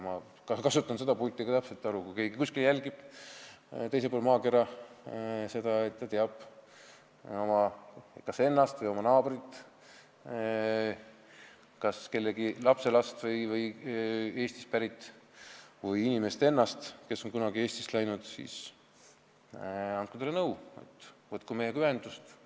Ma kasutan seda pulti ka selleks, et öelda: kui keegi meid kuskil teisel pool maakera jälgib ja on kas ise selline inimene või teab, et tema naaber on kas Eestist pärit inimese lapselaps või on ise Eestist pärit, on kunagi Eestist ära läinud, siis andke talle nõu, et võtku meiega ühendust.